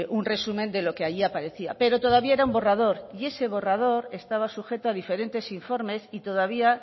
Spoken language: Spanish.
un resumen de lo que allí aparecía pero todavía era un borrador y ese borrador estaba sujeto a diferentes informes y todavía